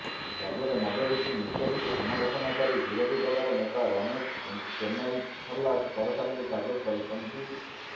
ରାଜ୍ୟରେ ମଦ ବିକ୍ରି ନିଷ୍ପତ୍ତିକୁ ସମାଲୋଚନା କରି ବିରୋଧୀ ଦଳର ନେତା ରମେଶ ଚେନ୍ନାଇଥାଲା ସରକାରଙ୍କୁ ଟାର୍ଗେଟ କରିଛନ୍ତି